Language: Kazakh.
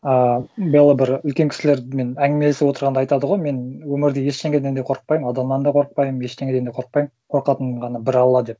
ыыы белла бір үлкен кісілермен әңгімелесіп отырғанда айтады ғой мен өмірде ештеңеден де қорқыпаймын адамнан да қорықпаймын ештеңеден де қорықпаймын қорқатын ғана бір алла деп